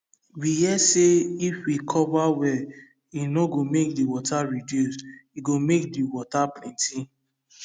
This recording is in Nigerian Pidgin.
we hear say if we cover well e no go make the water reduce e go make the water plenty